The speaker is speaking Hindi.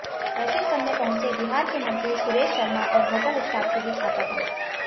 दर्शन करने पहुंचे बिहार के मंत्री सुरेश शर्मा और होटल स्टाफ के बीच हाथापाई